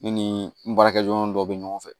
Ne ni n baarakɛɲɔgɔn dɔw bɛ ɲɔgɔn fɛ